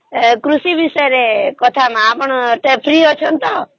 କୃଷି ବିଷୟରେ କଥା ହେବ ଟିକେ free ଅଛନ୍ତି ତ